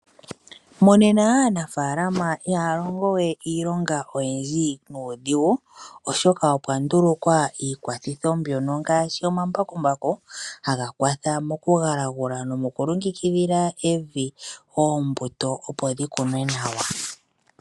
Monena aanafalama ihalongowe iilonga oyindji nudhingu oshoka opwa ndulukwa iikwathitho mbyono ngashi omambakumbaku hangakwatha mokungulangula nomu kwilongekidhila evi ombuto opo dhikunwe nawa.